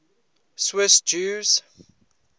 swiss jews